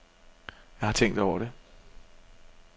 Jeg har tænkt over det.